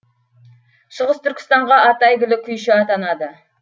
шығыс түркістанға аты әйгілі күйші атанады